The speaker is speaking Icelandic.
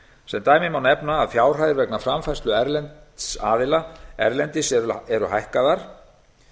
sem dæmi má nefna að fjárhæðir vegna framfærslu erlends aðila erlendis eru hækkaðar